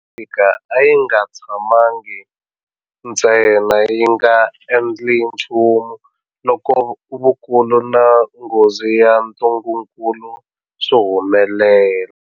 Afrika a yi nga tshamangi ntsena yi nga endli nchumu loko vukulu na nghozi ya ntungukulu swi humelela.